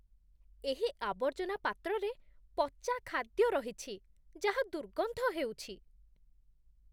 ଏହି ଆବର୍ଜନା ପାତ୍ରରେ ପଚା ଖାଦ୍ୟ ରହିଛି ଯାହା ଦୁର୍ଗନ୍ଧ ହେଉଛି